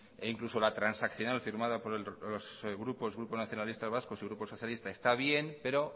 e incluso la transaccional firmada por los grupos grupo nacionalista vasco y grupo socialista está bien pero